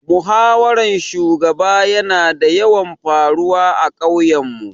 Muhawaran shugaba ya na yawan faruwa a ƙauyen mu